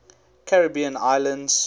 caribbean islands